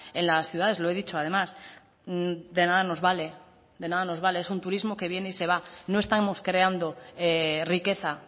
en las ciudades lo he dicho además de nada nos vale de nada nos vale es un turismo que viene y se va no estamos creando riqueza